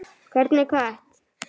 Hvernig kött?